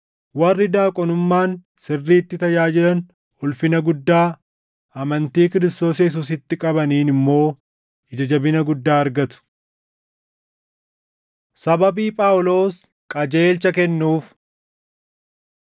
Warri daaqonummaan sirriitti tajaajilan ulfina guddaa, amantii Kiristoos Yesuusitti qabaniin immoo ija jabina guddaa argatu. Sababii Phaawulos Qajeelcha Kennuuf